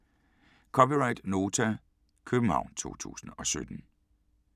(c) Nota, København 2017